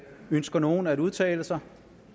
ønsker nogen at udtale sig